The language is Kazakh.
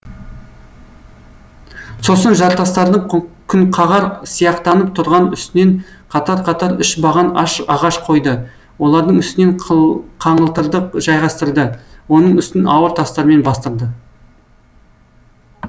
сосын жартастардың күнқағар сияқтанып тұрған үстінен қатар қатар үш баған ағаш қойды олардың үстінен қаңылтырды жайғастырды оның үстін ауыр тастармен бастырды